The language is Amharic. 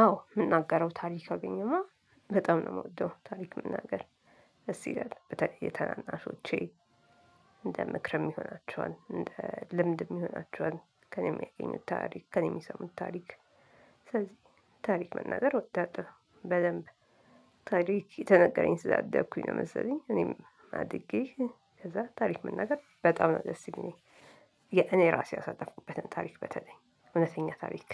አዎ የምናገረው ታሪክ ካገኘሁማ በጣም ነው የምወደው ታሪክ መናገር ደስ ይላል በተለይ የተናናሾቼ እንደ ምክርም ይሆናቸዋል እንደ ልምድም ይሆናቸዋል ከእኔ ሚያገኙት ታሪክ ከእኔ የሚሰሙት ታሪክ ስለዚህ ታሪክ መናገር ወዳለሁ በደንብ ታሪክ እየተነገረኝ ስላደኩኝ ነው መሰለኝ እኔም አድጌ ከዛ ታሪክ መናገር በጣም ነው ደስ የሚለኝ። የ እኔ ራሴ ያሳለፍኩበትን ታሪክ በተለይ እውነተኛ ታሪክ